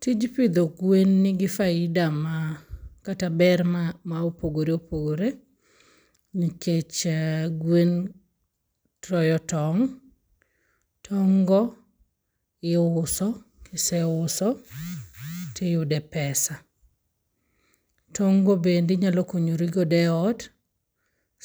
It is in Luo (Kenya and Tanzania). Tij pidho gwen nigi faida ma kata ber ma opogore opogore. Nikech gwen toyo tong'. Tong' go iuso. Kiseuoso to iyude pesa. Tong' go bende inyalo konyori godo e ot